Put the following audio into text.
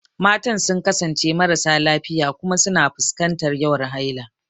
Matan sun kasance marasa lafiya kuma suna fuskantar yawan haila.